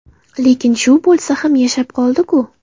Lekin shu bo‘lsa ham yashab qoldiku!